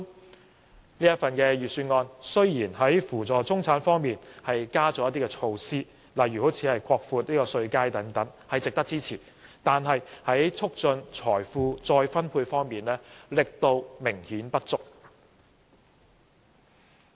雖然這份預算案在扶助中產方面增加了一些措施，例如擴闊稅階等，值得支持，但在促進財富再分配方面，力度明顯不足。